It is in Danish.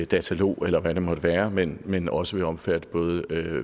dataloger eller hvad det måtte være men men også vil omfatte både